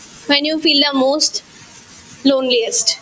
when you feel the most loneliness